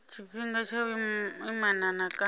tshifhinga tsha vhuimana na kana